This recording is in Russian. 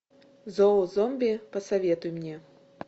зоозомби посоветуй мне